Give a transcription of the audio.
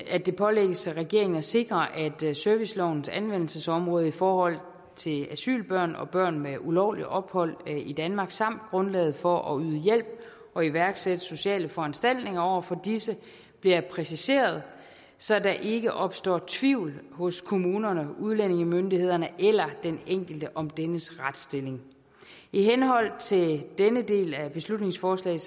at det pålægges regeringen at sikre at servicelovens anvendelsesområde i forhold til asylbørn og børn med ulovligt ophold i danmark samt grundlaget for at yde hjælp og iværksætte sociale foranstaltninger over for disse bliver præciseret så der ikke opstår tvivl hos kommunerne udlændingemyndighederne eller den enkelte om dennes retsstilling i henhold til denne del af beslutningsforslaget